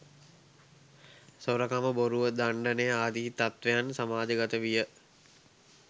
සොරකම, බොරුව, දණ්ඩනය ආදී තත්ත්වයන් සමාජගත විය.